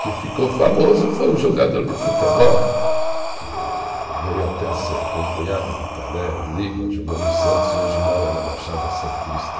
que ficou famoso foi um jogador de futebol, que veio até ser concunhado do Pelé, o Lima, jogou no Santos e hoje mora na Baixada Santista.